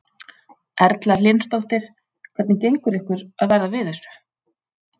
Erla Hlynsdóttir: Hvernig gengur ykkur að verða við þessu?